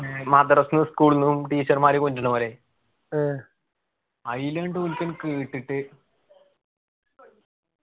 മദ്രസ school ന്നു teacher മാര് കൊണ്ട്വന്ന പോലെ അയിലുണ്ട് ഒരുത്തൻ കേട്ടിട്ട്